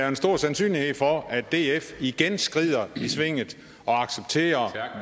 en stor sandsynlighed for at df igen skrider i svinget og accepterer